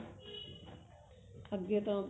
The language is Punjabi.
ਅੱਗੇ ਤੋਂ